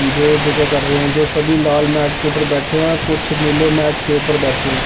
जो जोगा कर रहे है जो सभी लाल मैट के ऊपर बैठे हुए है कुछ नीले मैट के ऊपर बैठे है।